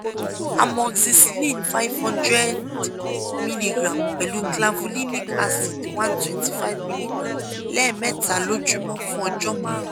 amoxycillin five hundred milligram pẹ̀lú clavulinic acid one twenty five milligram lẹ́ẹ̀mẹta lójúmọ́ fún ọjọ́ márùn-ún